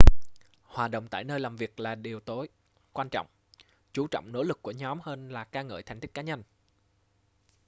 hòa đồng tại nơi làm việc là điều tối quan trọng chú trọng nỗ lực của nhóm hơn là ca ngợi thành tích cá nhân